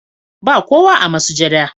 Ba kowa a masujada.